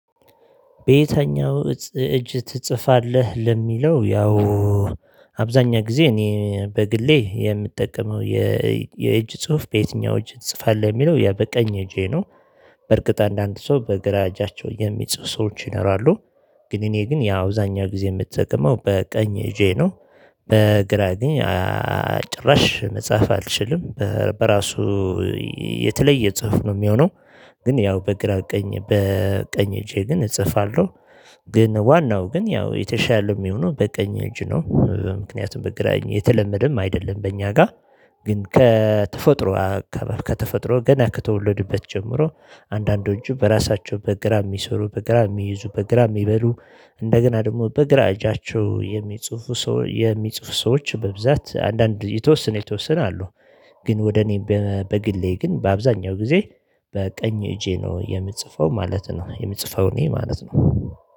በየተኛው እጅ ትጽፋለህ? ለሚለው ያው አብዛኛ ጊዜ እኔ በግሌ የምጠቀመው የእጅ ጽሁፍ በየትኛው እጅ ትጽፋለህ የሚለው ያ በቀኝ እጄ ነው። በእርግጥ አንዳንድ ሰው በግራ እጃቸው የሚጽፍ ሰዎች ይኖራሉ። ግን እኔ ግን ያው አብዛኛው ጊዜ የምጠቀመው በቀኝ እጄ ነው። በግራ ግን ጭራሽ መጽሐፍ አልችልም። በራሱ የተለየ ጽሁፍ ነው የሚሆነው። ግን ያው በግራ ቀኝ በቀኝ እጄ ግን እጽፋለሁ። ግን ዋናው ግን ያው የተሻለ የሚሆነው በቀኝ እጅ ነው ምክንያቱም በግራኝ የተለመደም አይደለም በእኛ ጋር። ግን ከተፈጥሮ ከተፈጥሮ ገና ከተወለዱበት ጀምሮ አንዳንዶቹ በራሳቸው በግራ የሚሰሩ በግራ የሚይዙ በግራ የሚበሉ እንደገና ደግሞ በግራ እጃቸው የሚጽፉ ሰው የሚጽፉ ሰዎች በብዛት አንዳንድ የተወሰነ የተወሰነ አሉ። ግን ወደ እኔ በግሌ ግን በአብዛኛው ጊዜ በቀኝ እጄ ነው የምጽፈው ማለት ነው። የምጽፈው እኔ ማለት ነው።